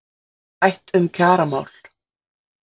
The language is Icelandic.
Rætt um kjaramál